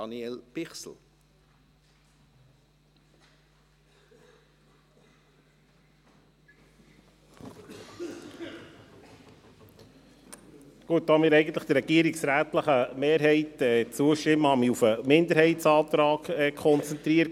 Da wir eigentlich dem regierungsrätlichen Antrag mehrheitlich zustimmen, habe ich mich auf den Minderheitsantrag konzentriert.